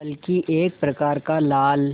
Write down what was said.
बल्कि एक प्रकार का लाल